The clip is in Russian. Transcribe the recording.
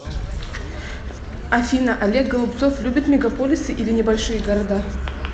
афина олег голубцов любит мегаполисы или небольшие города